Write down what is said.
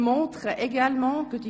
Catherine Graf Lutz (f)